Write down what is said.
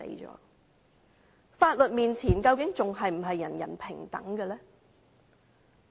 在法律面前究竟還是否人人平等？